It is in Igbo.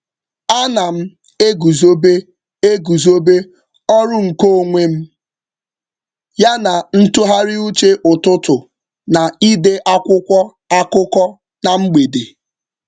Ana m eguzobe eguzobe ọrụ nke onwe m ya na ntụgharịuche ụtụtụ na ide akwụkwọ akụkọ na mgbede.